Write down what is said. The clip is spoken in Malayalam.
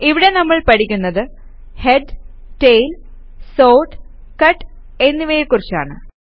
ഇവിടെ നമ്മൾ പഠിക്കുന്നത് ഹെഡ് ടെയിൽ സോർട്ട് കട്ട് എന്നിവയെ കുറിച്ചാണ്